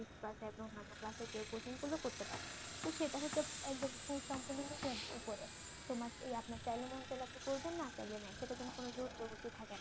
Six কা অন্যান্য ক্লাসে কেউ কোচিং করলেও করতে পারে তো সেটা হচ্ছে একদম পুরো সম্পূর্ণ নিজের তোমার ইয়ে আপনার মন চাইলে আপনি করবেন না চাইলে নাই সেটার জন্য কোনো জোর জবরদস্তি থাকে না।